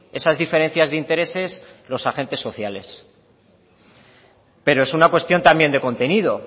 esas diferencias de intereses los agentes sociales pero es una cuestión también de contenido